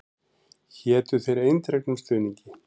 Hétu þér eindregnum stuðningi.